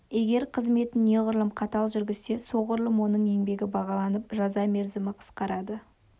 егер қызметін неғұрлым қатал жүргізсе соғұрлым оның еңбегі бағаланып жаза мерзімі қысқарады